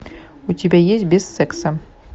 у тебя есть без секса